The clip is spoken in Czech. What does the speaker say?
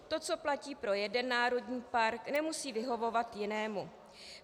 To, co platí pro jeden národní park, nemusí vyhovovat jinému.